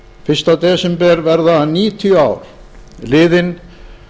fyrsta desember verða níutíu ár liðin